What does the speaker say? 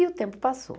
E o tempo passou.